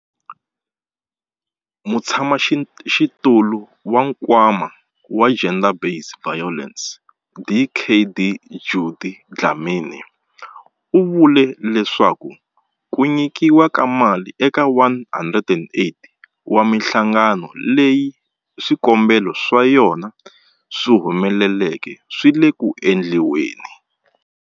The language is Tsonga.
Mutshamaxitulu wa Nkwama wa GBVF, Dkd Judy Dlamini, u vule leswaku ku nyikiwa ka mali eka 108 wa mihlangano leyi swikombelo swa yona swi humeleleke swi le ku endliweni.